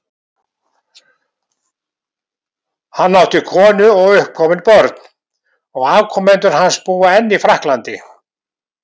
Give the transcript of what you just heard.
Hann átti konu og uppkomin börn, og afkomendur hans búa enn í Frakklandi.